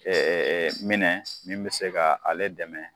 Ee minɛ min bɛ se ka ale dɛmɛ